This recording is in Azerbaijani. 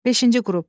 Beşinci qrup.